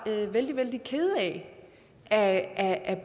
vældig vældig kede af at at